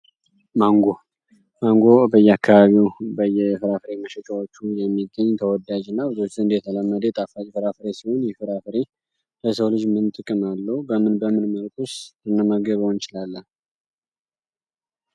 ማንጎ ማንጎ በየካባቢው በየፍራፍሬ መሸቻዎቹ የሚገኝ ተወዳጅ እና በብዙዎች ዘንድ የተለመዴ ጣፋጭ ፍራፍሬ ሲሆን ይህ ፍራፍሬ በሰው ልጅ ምን ጥቅም አለው በምን በምን መልቁኩስ ልንመገበው እንችላለን?